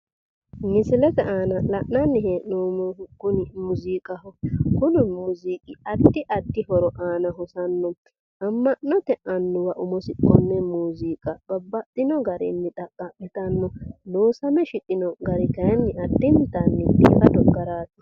Misilete aana la'nanni hee'noommohu kuni muuziiqaho. Kuni muuziiqi addi addi horo aana hosanno. Amma'note annuwa nafa konne muuziiqa babbaxxino garinni xaqqa'mitanno. Loosame shiqino gari kayinni addintanni biifado garaati.